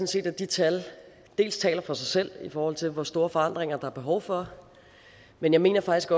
set at de tal taler for sig selv i forhold til hvor store forandringer der er behov for men jeg mener faktisk